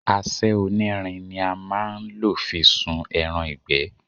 Àṣẹ onírin ni a má a nlò fi sun ẹran ìgbẹ́